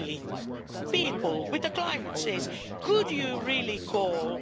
Frankly, with climate change, could you really call